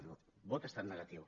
el vot ha estat negatiu